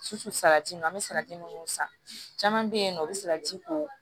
Sufɛ salati ninnu an bɛ salati minnu san caman bɛ yen nɔ u bɛ sara ji ko